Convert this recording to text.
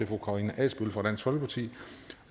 fru karina adsbøl fra dansk folkeparti